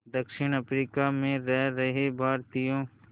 दक्षिण अफ्रीका में रह रहे भारतीयों